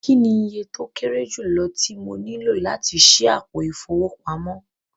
Kíni ìyẹ̀ tó kẹ̀rè júlọ̀ tí mọ níló láti ṣí àpò ifowópamọ̀?